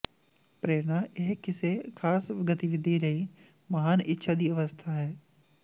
ਪ੍ਰੇਰਨਾ ਇਹ ਕਿਸੇ ਖਾਸ ਗਤੀਵਿਧੀ ਲਈ ਮਹਾਨ ਇੱਛਾ ਦੀ ਅਵਸਥਾ ਹੈ